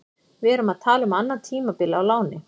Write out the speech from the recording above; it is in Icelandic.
Við erum að tala um annað tímabil á láni.